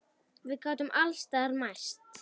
Við gátum alls staðar mæst.